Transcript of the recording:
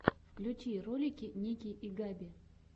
включи ролики ники и габи